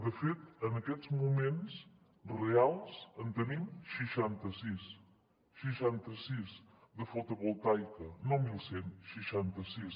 de fet en aquests moments reals en tenim seixanta sis seixanta sis de fotovoltaica no mil cent seixanta sis